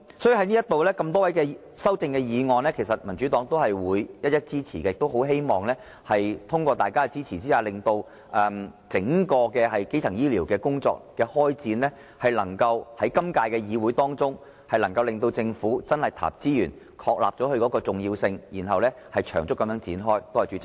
所以，對於多位議員的修正案，民主黨也會一一支持，亦很希望通過大家的支持，令整個基層醫療工作能夠在今屆議會中得到開展，政府能真正投入資源，確立基層醫療工作的重要性，並長遠地展開。